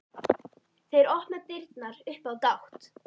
Þeir opna dyrnar upp á gátt.